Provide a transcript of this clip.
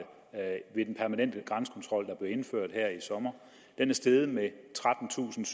ved den permanente grænsekontrol der blev indført her i sommer er det steget med trettentusinde